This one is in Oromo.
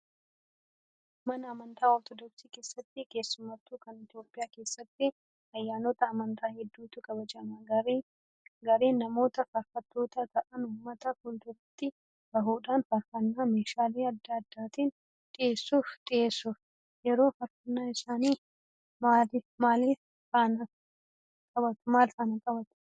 Mana amantaa ortodoksii keessatti keessattuu kan Itoophiyaa keessatti ayyaanota amantaa hedduutu kabajama. Gareen namootaa faarfattoota ta'an uummata fuulduratti bahuudhaan faarfannaa meeshaalee adda addaatiin dhiyeessuuf. Yeroo faarfannaa isaanii maaliif fannoo qabatu?